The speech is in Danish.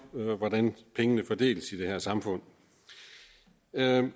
hvordan pengene fordeles i det her samfund